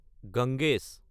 Ganges